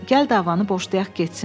Gəl davanı boşlayaq getsin.